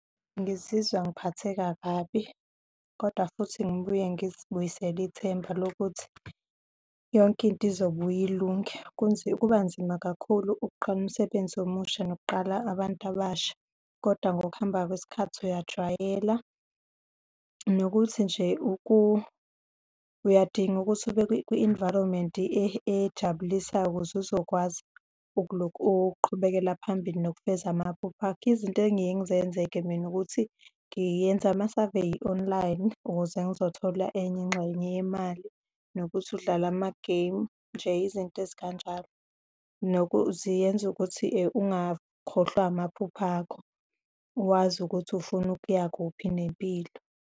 Ngizizwa ngiphatheka kabi, kodwa futhi ngibuye ngizibuyisele ithemba lokuthi yonke into izobuyilunge. Kubanzima kakhulu ukuqala umsebenzi omusha nokuqala abantu abasha. Kodwa ngokuhamba kwesikhathi uyajwayela, nokuthi nje uyadinga ukuthi ube kwi-environment ejabulisayo ukuze uzokwazi ukuqhubekela phambili nokufeza amaphupho akho. Izinto engiye ngizenze-ke mina, ukuthi ngiyenza ama-survey online ukuze ngizothola enye ingxenye yemali nokuthi udlale amagemu, nje izinto ezikanjalo. Ziyenza ukuthi ungakhohlwa amaphupho akho, wazi ukuthi ufuna ukuya kuphi ngempilo.